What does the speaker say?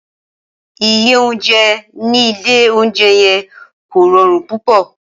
Ìyé ounjé ni ìlé ounjé yen kó rõrun púpõ